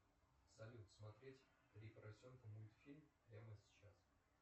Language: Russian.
салют смотреть три поросенка мультфильм прямо сейчас